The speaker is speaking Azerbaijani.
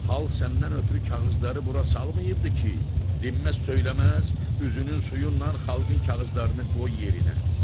Xalq səndən ötrü kağızları bura salmayıbdı ki, dinməz-söyləməz üzünün suyu ilə xalqın kağızlarını qoy yerinə.